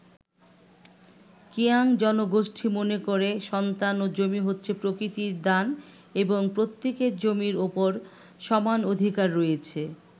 কিয়াং জনগোষ্ঠী মনে করে সন্তান ও জমি হচ্ছে প্রকৃতির দান এবং প্রত্যেকের জমির ওপর সমান অধিকার রয়েছে।